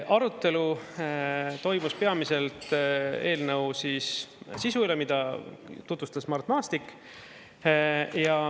Arutelu toimus peamiselt eelnõu sisu üle, mida tutvustas Mart Maastik.